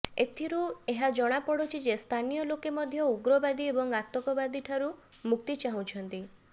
ଏଥିରୁ ଏହା ଜଣାପଡ଼ୁଛି ଯେ ସ୍ଥାନୀୟ ଲୋକେ ମଧ୍ୟ ଉଗ୍ରବାଦୀ ଏବଂ ଆତଙ୍କବାଦୀଠାରୁ ମୁକ୍ତି ଚାହୁଁଛନ୍ତି